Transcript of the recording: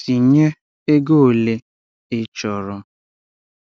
Tinye ego ole ị chọrọ